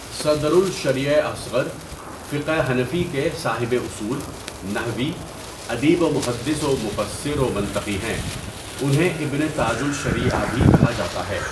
صدر الشریعہ اصغر فقہ حنفی کے صاحب اصول، نحوي، اديب ومحدّث ومفسّر ومنطقی ہیں انہیں ابن تاج الشریعہ بھی کہا جاتا ہے.